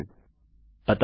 अभी यह नहीं है